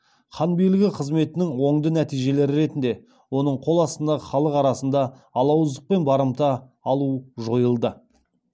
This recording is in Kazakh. хан билігі қызметінің оңды нәтижелері ретінде оның қол астындағы халық арасында алауыздық пен барымта алу жойылды